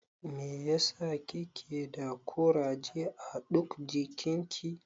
Mai ya sa kike da kuraje a ɗuk jikin ki?